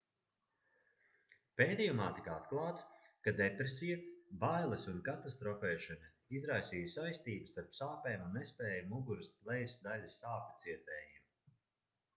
pētījumā tika atklāts ka depresija bailes un katastrofēšana izraisīja saistību starp sāpēm un nespēju muguras lejas daļas sāpju cietējiem